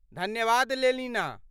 धन्यवाद लेलिना।